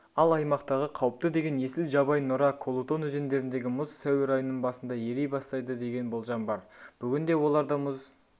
ал аймақтағы қауіпті деген есіл жабай нұра колутон өзендеріндегі мұз сәуір айының басында ери бастайды деген болжам бар бүгінде оларда мұз